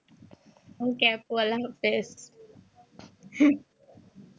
okay আপু আল্লাহ আফিজ।